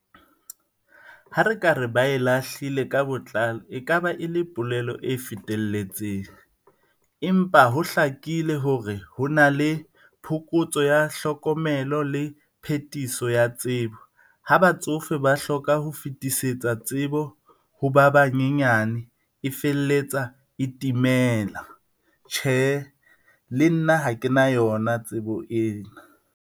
Ha re ka re ba e lahlile ka botlalo e ka ba e le polelo e fetelletseng. Empa ho hlakile hore ho na le phokotso ya hlokomelo le phetiso ya tsebo ha batsofe ba hloka ho fetisetsa tsebo ho ba banyenyane e felletsa e timela. Tjhe, le nna ha kena yona tsebo ena.